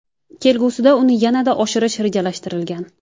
Kelgusida uni yanada oshirish rejalashtirilgan.